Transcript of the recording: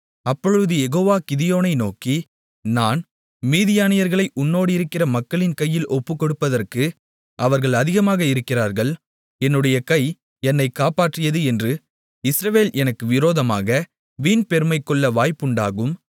அப்பொழுது யெகோவா கிதியோனை நோக்கி நான் மீதியானியர்களை உன்னோடிருக்கிற மக்களின் கையில் ஒப்புக்கொடுப்பதற்கு அவர்கள் அதிகமாக இருக்கிறார்கள் என்னுடைய கை என்னை காப்பாற்றியது என்று இஸ்ரவேல் எனக்கு விரோதமாக வீண்பெருமைகொள்ள வாய்ப்புண்டாகும்